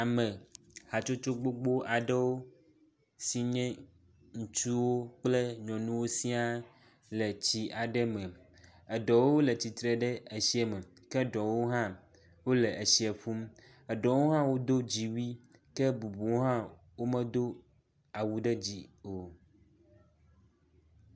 Ame hatsotso gbogbo aɖewo si nye ŋutsuwo kple nyɔnuwo sia le tsi aɖe me. Eɖewo le tsitre ɖe etsia me ke eɖewo hã wo le etsi ƒum. Eɖewo hã wodo dziwui ke bubuwo hã womedo awu ɖe dzi o.